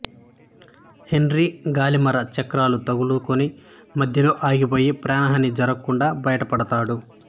henry గాలిమర చక్రాలకు తగులుకుని మధ్యలో ఆగిపోయి ప్రాణహాని జరగకుండా బయటపడతాడు